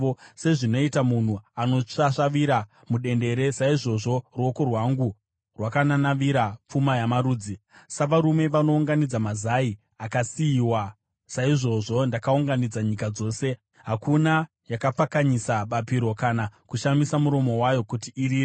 Sezvinoita munhu anosvasvavira mudendere, saizvozvo ruoko rwangu rwakananavira pfuma yamarudzi; savarume vanounganidza mazai akasiyiwa, saizvozvo ndakaunganidza nyika dzose; hakuna yakapfakanyisa bapiro, kana kushamisa muromo wayo kuti irire.’ ”